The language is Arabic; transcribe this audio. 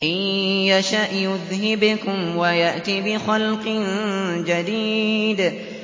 إِن يَشَأْ يُذْهِبْكُمْ وَيَأْتِ بِخَلْقٍ جَدِيدٍ